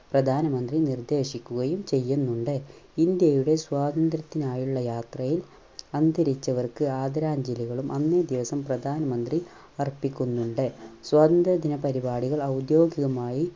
പ്രധാനമന്ത്രി നിർദ്ദേശിക്കുകയും ചെയ്യുന്നുണ്ട്. ഇന്ത്യയുടെ സ്വാതന്ത്ര്യത്തിനായുള്ള യാത്രയിൽ അന്തരിച്ചവർക്ക് ആദരാഞ്ജലികളും അന്നേ ദിവസം പ്രധാനമന്ത്രി അർപ്പിക്കുന്നുണ്ട്. സ്വാതന്ത്ര്യ ദിന പരിപാടികൾ ഔദ്യോഗികമായി